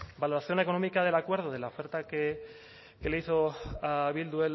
valoración económica del acuerdo de la oferta que le hizo a bildu